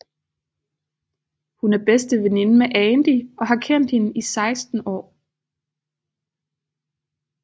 Hun er bedste veninde med Andy og har kendt hende i 16 år